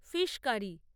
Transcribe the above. fish curry